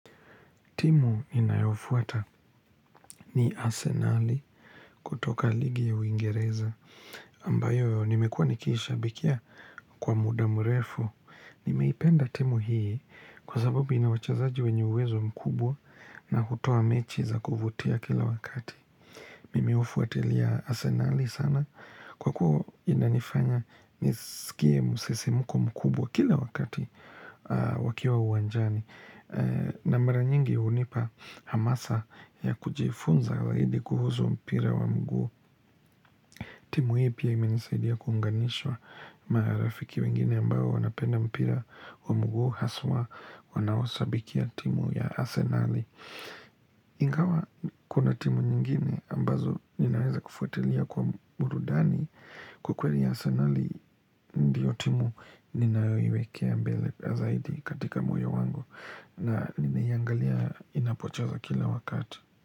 Timu ninayofuata ni arsenali kutoka ligi ya uingereza. Ambayo nimekuwa nikishabikia kwa muda mrefu. Nimeipenda timu hii kwa sababu ina wachezaji wenye uwezo mkubwa na hutoa mechi za kuvutia kila wakati. Nimeufuatilia arsenali sana kwa kuwa inanifanya nisikie msisimuko mkubwa kila wakati wakiwa wa uwanjani. Na mara nyingi hunipa hamasa ya kujifunza zaidi kuhusu mpira wa mguu timu hii pia imenisaidia kuunganishwa marafiki wengine ambao wanapenda mpira wa mguu Haswa wanaoshabikia timu ya asenali Ingawa kuna timu nyingine ambazo ninaweza kufuatilia kwa burudani Kwa kweli arsenali ndio timu ninayoiwekea mbele zaidi katika moyo wangu na nimeiangalia inapocheza kila wakati.